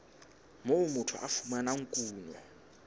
moo motho a fumanang kuno